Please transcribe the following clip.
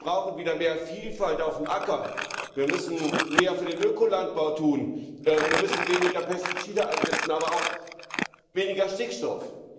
Wir brauchen wieder mehr Vielfalt auf dem Acker, wir müssen mehr für den Ökolandbau tun, wir müssen weniger Pestizide einsetzen, aber auch weniger Stickstoff.